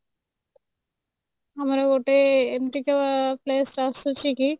ଆମ ଗୋଟେ ଏମିତିକା place ଆସୁଛି କି